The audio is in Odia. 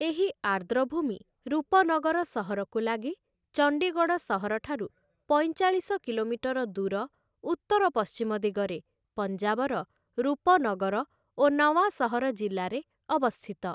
ଏହି ଆର୍ଦ୍ରଭୂମି ରୂପନଗର ସହରକୁ ଲାଗି, ଚଣ୍ଡିଗଡ଼ ସହର ଠାରୁ ପଇଁଚାଳିଶ କିଲୋମିଟର ଦୂର ଉତ୍ତର ପଶ୍ଚିମ ଦିଗରେ, ପଞ୍ଜାବର ରୂପନଗର ଓ ନଓ୍ୱାଁସହର ଜିଲ୍ଲାରେ ଅବସ୍ଥିତ ।